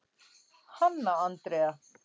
Hanna Andrea.